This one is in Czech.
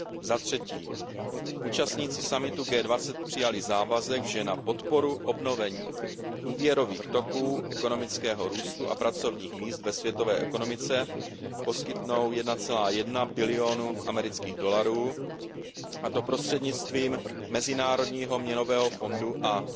Za třetí, účastníci summitu G20 přijali závazek, že na podporu obnovení úvěrových toků, ekonomického růstu a pracovních míst ve světové ekonomice poskytnou 1,1 bilionu USD, a to prostřednictvím Mezinárodního měnového fondu